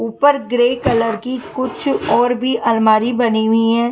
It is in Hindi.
ऊपर ग्रे कलर की कुछ और भी अलमारी बनी हुई है।